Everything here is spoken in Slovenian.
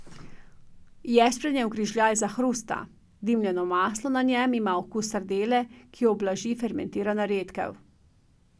Ješprenjev grižljaj zahrusta, dimljeno maslo na njem ima okus sardele, ki jo ublaži fermentirana redkev.